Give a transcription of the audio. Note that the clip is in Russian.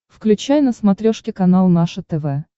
включай на смотрешке канал наше тв